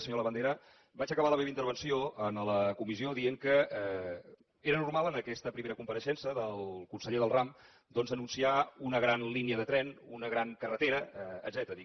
senyor labandera vaig acabar la meva intervenció en la comissió dient que era normal en aquesta primera compareixença del conseller del ram doncs anunciar una gran línia de tren una gran carretera etcètera dic